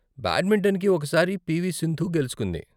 బ్యాడ్మింటన్కి, ఒక సారి పీ.వీ.సింధు గెలుచుకుంది.